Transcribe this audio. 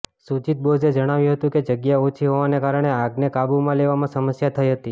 સુજિત બોઝે જણાવ્યું હતું કે જગ્યા ઓછી હોવાને કારણે આગને કાબૂમાં લેવામાં સમસ્યા થઇ હતી